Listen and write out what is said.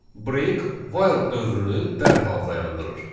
Break while dövrünü dərhal dayandırır.